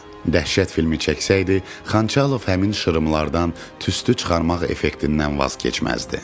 Dəhşət filmi çəksəydi, Xançalov həmin şırımlardan tüstü çıxarmaq effektindən vaz keçməzdi.